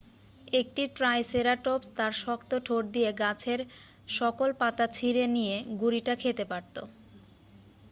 একটি ট্রাইসেরাটপস তার শক্ত ঠোঁট দিয়ে গাছের সকল পাতা ছিঁড়ে নিয়ে গুড়িটা খেতে পারত